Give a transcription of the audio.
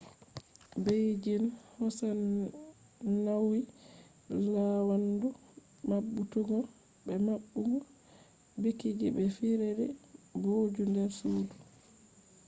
beijing hosan nauyi laawandu mabbutuggo be mabbugo bikiji be fijirde booju der sudu